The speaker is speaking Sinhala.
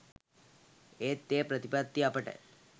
ඒත් ඒ ප්‍රතිපත්ති අපට